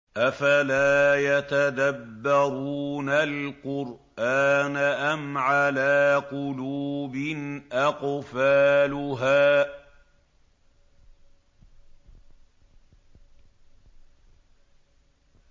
أَفَلَا يَتَدَبَّرُونَ الْقُرْآنَ أَمْ عَلَىٰ قُلُوبٍ أَقْفَالُهَا